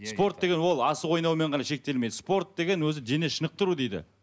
спорт деген ол асық ойнаумен ғана шектелмейді спорт деген өзі дене шынықтыру дейді